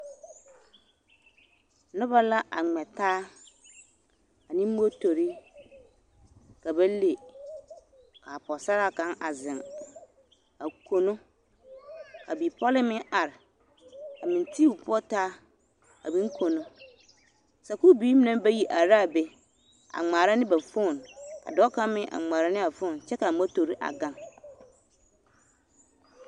Noba la a ŋmɛ taa ane motori ka ba le ka Pɔgesaraa kaŋ a zeŋ a kono ka bipɔlee meŋ are a meŋ ti o poɔ taa a meŋ kono, sakuuri biiri mine meŋ bayi are la a be a ŋmaara ne ba fon ka dɔɔ kaŋ meŋ a ŋmaara ne a fon kyɛ ka a motori a gaŋ.